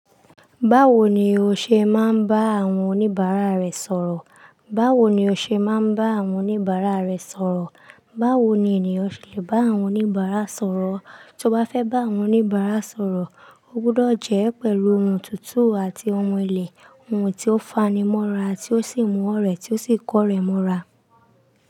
Báwo ni o ṣe máa ń bá àwọn oníbàárà rẹ sọ̀rọ̀? Báwo ni ènìyàn ṣe lè bá àwọn oníbàárà sọ̀rọ̀? Tí o bá fẹ́ bá àwọn oníbàárà sọ̀rọ̀, o gbọdọ̀ jẹ́ pẹ̀lú ohùn tuntun àti ohun ílé, ohun tí ó fanimọ́ra àti ó sì mú ọ̀rẹ́ rẹ tí ó sì kọ́ rẹ mọ́ra.